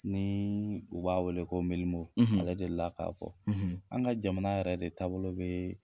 Ni u b'a wele ko Milimo, , ale deli la k'a fɔ. ,An ka jamana yɛrɛ de taabolo bɛ